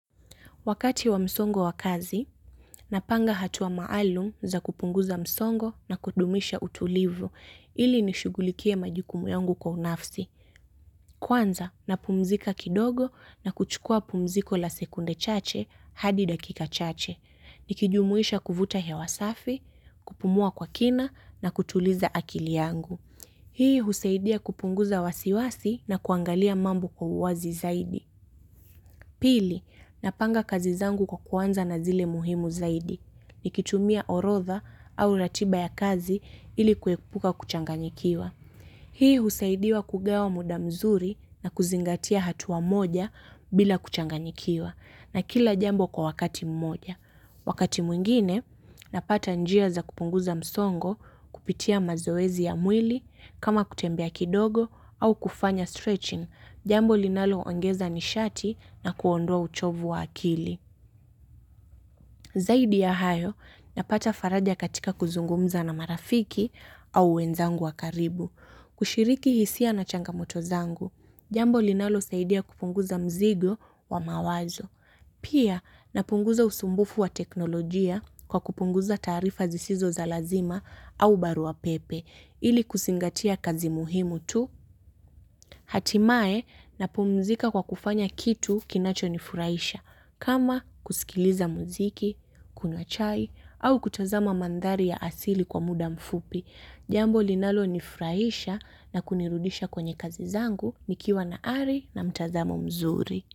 Wakati wa msongo wa kazi, napanga hatua maalum za kupunguza msongo na kudumisha utulivu ili nishughulikie majukumu yangu kwa unafsi. Kwanza, napumzika kidogo na kuchukua pumziko la sekunde chache hadi dakika chache. Nikijumuisha kuvuta hewa safi, kupumua kwa kina na kutuliza akili yangu. Hii husaidia kupunguza wasiwasi na kuangalia mambo kwa uwazi zaidi. Pili, napanga kazi zangu kwa kuanza na zile muhimu zaidi. Nikitumia orodha au ratiba ya kazi ili kuepuka kuchanganikiwa. Hii husaidia kugawa muda mzuri na kuzingatia hatua moja bila kuchanganyikiwa na kila jambo kwa wakati mmoja. Wakati mwingine, napata njia za kupunguza msongo kupitia mazoezi ya mwili kama kutembea kidogo au kufanya stretching, jambo linalo ongeza nishati na kuondoa uchovu wa akili. Zaidi ya hayo, napata faraja katika kuzungumza na marafiki au wenzangu wa karibu. Kushiriki hisia na changamoto zangu, jambo linalosaidia kupunguza mzigo wa mawazo. Pia napunguza usumbufu wa teknolojia kwa kupunguza taarifa zisizo za lazima au barua pepe ili kuzingatia kazi muhimu tu. Hatimaye napumzika kwa kufanya kitu kinachonifurahisha kama kusikiliza muziki, kunywa chai au kutazama mandhari ya asili kwa muda mfupi. Jambo linalonifurahisha na kunirudisha kwenye kazi zangu nikiwa na ari na mtazamo mzuri.